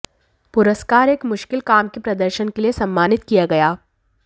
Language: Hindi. पुरस्कार एक मुश्किल काम के प्रदर्शन के लिए सम्मानित किया गया